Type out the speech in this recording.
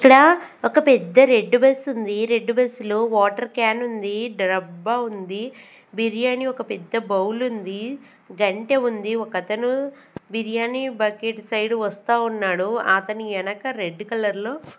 ఇక్కడ ఒక పెద్ద రెడ్ బస్ ఉంది రెడ్ బస్ లో వాటర్ క్యాన్ ఉంది డబ్బా ఉంది బిర్యానీ ఒక పెద్ద బౌల్ ఉంది గంటె ఉంది ఒకతను బిర్యానీ బకెట్ సైడ్ వస్తా ఉన్నాడు అతని వెనక రెడ్ కలర్ లో.